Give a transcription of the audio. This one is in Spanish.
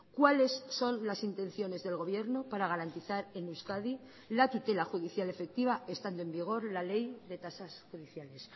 cuáles son las intenciones del gobierno para garantizar en euskadi la tutela judicial efectiva estando en vigor la ley de tasas judiciales